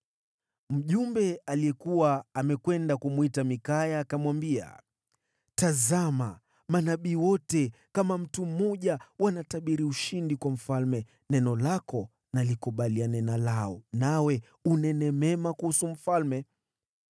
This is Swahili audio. Mjumbe aliyekuwa amekwenda kumwita Mikaya akamwambia, “Tazama, manabii wote kama mtu mmoja wanatabiri ushindi kwa mfalme. Neno lako na likubaliane na lao, nawe unene mema kuhusu mfalme.”